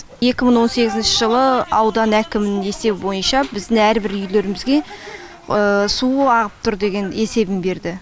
екі мың он сегізінші жылы аудан әкімінің есебі бойынша біздің әрбір үйлерімізге су ағып тұр деген есебін берді